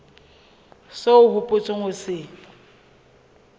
seo o hopotseng ho se